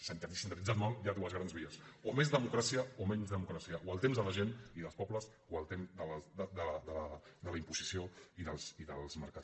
sintetitzant ho molt hi ha dues grans vies o més democràcia o menys democràcia o el temps de la gent i dels pobles o el temps de la imposició i dels mercats